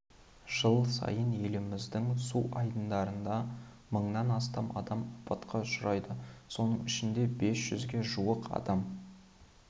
жыл сайын еліміздің су айдындарында мыңнан астам адам апатқа ұшырайды соның ішінде бес жүзге жуық адам